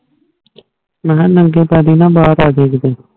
ਮਹਾ ਨੰਗੇ ਪੈਰੀ ਨਾ ਬਾਰ ਆਹ ਜਾਇ ਕਿੱਡੇ